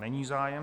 Není zájem.